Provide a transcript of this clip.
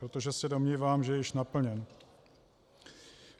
Protože se domnívám, že je již naplněn.